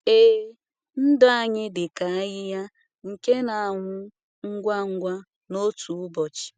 Ee, ndụ anyị dịka ahịhịa nke na-anwụ ngwa ngwa n’otu ụbọchị.